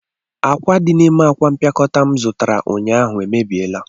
Akwa di n'ime akwa mpịakọta m zụtara ụnyaahụ emebiela